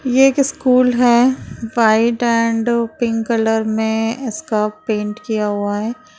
ये एक स्कूल है व्हाइट एण्ड पिंक कलर में इसका पेंट किया हुआ है।